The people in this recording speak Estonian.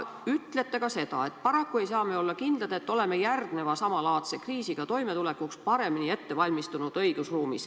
Ütlete ka seda, et paraku ei saa me olla kindlad, et oleme järgmise samalaadse kriisiga toimetulekuks õigusruumis paremini valmistunud.